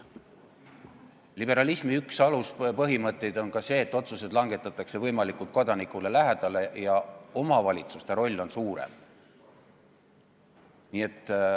Liberalismi üks aluspõhimõtteid on ka see, et otsused langetatakse võimalikult kodanikule lähedal ja omavalitsuste roll on suurem.